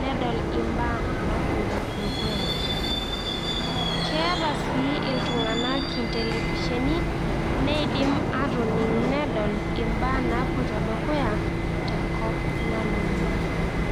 nedol imbaa napoito dukuya. Keeta sii iltung'anak intelefisheni neidim aatoning' nedol imbaa napoito dukuya tenkop nalulung'a.